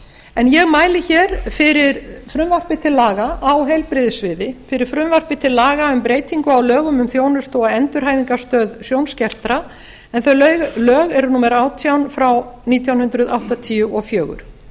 en ég mæli hér fyrir frumvarpi til laga á heilbrigðissviði fyrir frumvarpi til laga um breytingu á lögum um þjónustu og endurhæfingarstöð sjónskertra en þau lög eru númer átján frá nítján hundruð áttatíu og fjögur